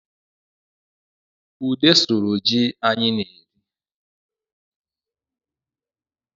Ude sụrụ ji anyị na-eme